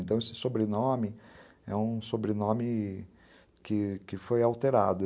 Então, esse sobrenome é um sobrenome que que foi alterado.